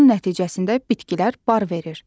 nəticəsində bitkilər bar verir.